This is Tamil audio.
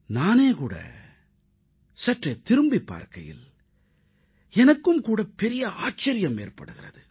நானே கூட சற்றே திரும்பிப் பார்க்கையில் எனக்கும் கூட பெரிய ஆச்சரியம் ஏற்படுகிறது